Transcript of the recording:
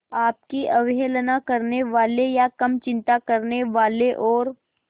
आपकी अवहेलना करने वाले या कम चिंता करने वाले और